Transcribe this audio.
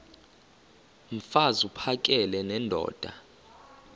mfaz uphakele nendoda